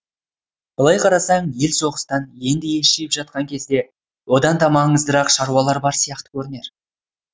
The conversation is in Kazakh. былай қарасаң ел соғыстан енді ес жиып жатқан кезде одан да маңыздырақ шаруалар бар сияқты көрінер